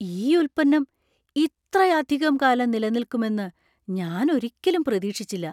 ഈ ഉൽപ്പന്നം ഇത്രയധികം കാലം നിലനിൽക്കും എന്ന് ഞാൻ ഒരിക്കലും പ്രതീക്ഷിച്ചില്ല.